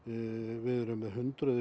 við erum með hundruð